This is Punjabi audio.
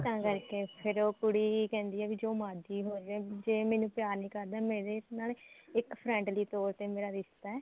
ਤਾਂ ਕਰਕੇ ਫ਼ੇਰ ਉਹ ਕੁੜੀ ਕਹਿੰਦੀ ਐ ਕਿ ਜੋ ਮਰਜੀ ਹੋਜੇ ਜੇ ਮੈਨੂੰ ਪਿਆਰ ਨੀ ਕਰਦਾ ਮੇਰਾ ਇਸ ਨਾਲ ਇੱਕ friendly ਤੋਰ ਤੇ ਮੇਰਾ ਰਿਸ਼ਤਾ